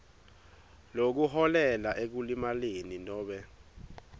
lokuholela ekulimaleni nobe